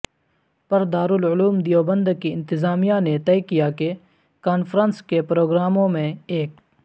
پردارالعلوم دیوبند کی انتظامیہ نےطےکیاکہ کانفرنس کےپروگراموں میں ایک